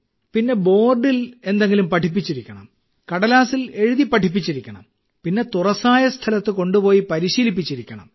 പിന്നെ ബോർഡിൽ എന്തെങ്കിലും പഠിപ്പിച്ചിരിക്കണം കടലാസിൽ എഴുതി പഠിപ്പിച്ചിരിക്കണം പിന്നെ തുറസ്സായ സ്ഥലത്ത് കൊണ്ടുപോയി പരിശീലിച്ചിരിക്കണം